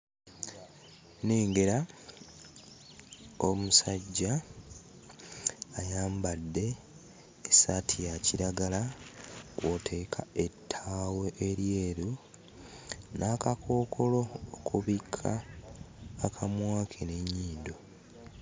Nnengera omusajja ayambadde essaati ya kiragala kw'oteeka ettaawo eryeru, n'akakookolo okubikka akamwa ke n'ennyindo.